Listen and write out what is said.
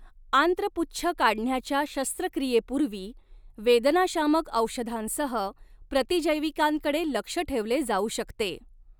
आंत्रपुच्छ काढण्याच्या शस्त्रक्रियेपूर्वी, वेदनाशामक औषधांसह प्रतिजैविकांकडे लक्ष ठेवले जाऊ शकते.